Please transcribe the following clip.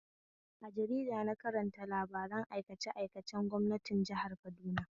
A jarida na karanta labaran aikace aikacen gwamnatin jihar Kaduna